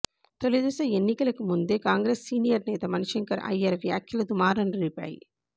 తొలి దశ ఎన్నికలకు ముందే కాంగ్రెస్ సీనియర్ నేత మణిశంకర్ అయ్యర్ వ్యాఖ్యలు దుమారం రేపాయి